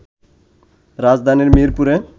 রাজধানীর মিরপুরে